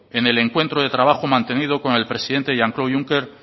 en el encuentro de trabajo mantenido con el presidente jean claude juncker